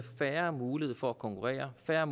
færre muligheder for at konkurrere færre